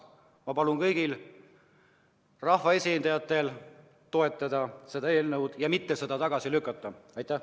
Ma palun kõigil rahvaesindajatel toetada seda eelnõu ja mitte seda tagasi lükata!